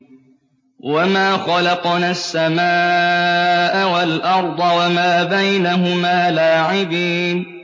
وَمَا خَلَقْنَا السَّمَاءَ وَالْأَرْضَ وَمَا بَيْنَهُمَا لَاعِبِينَ